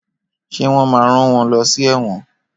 Ṣé wọ́n máa rán wọ́n lọ́ sí ẹ̀wọ̀n?